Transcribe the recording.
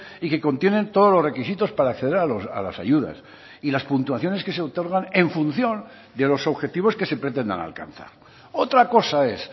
y que contienen todos los requisitos para acceder a las ayudas y las puntuaciones que se otorgan en función de los objetivos que se pretendan alcanzar otra cosa es